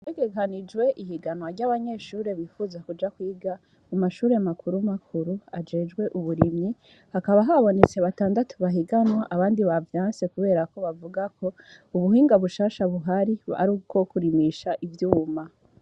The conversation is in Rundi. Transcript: Harategekanijwe ihiganwa ryabanyeshure bipfuza kwiga amashure makuru makuru ajejwe uburimyi hakaba habonetse batandatu bahiganwa abandi bavyanse kuberako bavugako ubuhinga bushasha buhari ari ubwo kurimisha ivyuma.